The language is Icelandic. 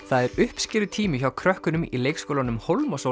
það er uppskerutími hjá krökkunum í leikskólanum